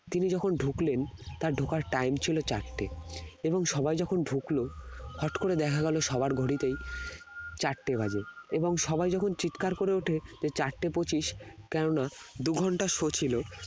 তিনি যখন ঢুকলেন তার ঢোকার time ছিল চারটে এবং সবাই যখন ঢুকলো হঠাৎ করে দেখা গেল সবার ঘড়িতেই চারটে বাজে এবং সবাই যখন চিৎকার করে ওঠে যে চারটে পঁচিশ কেননা দুই ঘন্টার show ছিল